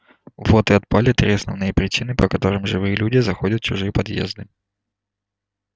вот и отпали три основные причины по которым живые люди заходят в чужие подъезды